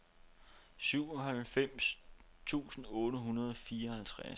syvoghalvfems tusind otte hundrede og fireoghalvtreds